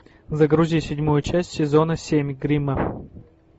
загрузи седьмую часть сезона семь гримма